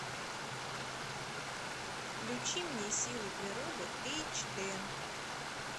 включи мне силы природы эйч д